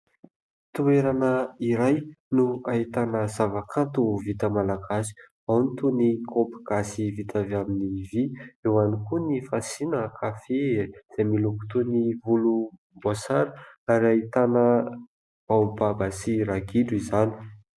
Toerana iray no ahitana zava-kanto vita malagasy, ao ny toy ny kopy gasy vita avy amin'ny vy; ao koa ny fasiana kafe izay miloko toy voloboasary, ary ahitana baobaba sy ragidro izany.